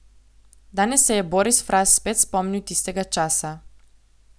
Danes se je Boris Fras spet spomnil tistega časa.